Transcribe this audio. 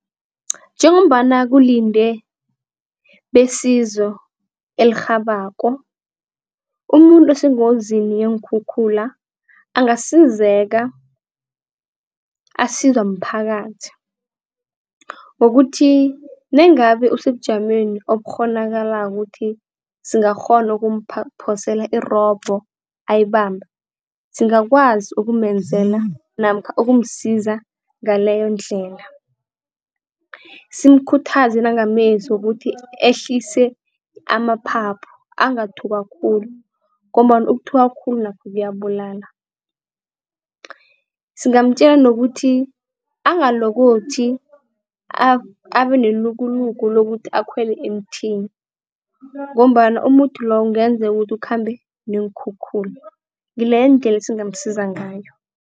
Njengombana kulindwe besizo elirhabako, umuntu osengozini yeenkhukhula angasizeka asizwa mphakathi. Ngokuthi nangabe usebujameni obukghonakalako ukuthi singakghona ukumphosela irobho ayibambe, singakwazi ukumenzela namkha ukumsiza ngaleyondlela. Simkhuthaze nangamezwi wokuthi ehlise amaphaphu angathukwa khulu ngombana ukuthukwa khulu nakho kuyabulala. Singamtjela nokuthi angalokothi abe nelukuluku lokuthi akhwele emthini ngombana umuthi loyo kungenzeka ukuthi ukhambe neenkhukhula, ngileyo indlela esingasiza ngayo.